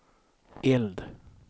eld